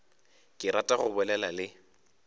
ke rata go bolela le